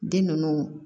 Den ninnu